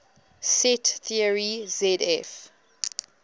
set theory zf